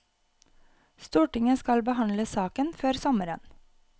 Stortinget skal behandle saken før sommeren.